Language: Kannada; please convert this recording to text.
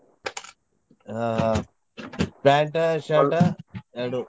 ಹಾ ಆ pant, shirt ಎರಡು.